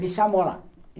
Me chamou lá.